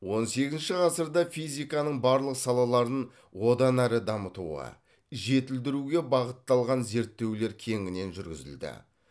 он сегізінші ғасырда физиканың барлық салаларын одан әрі дамытуға жетілдіруге бағытталған зерттеулер кеңінен жүргізілді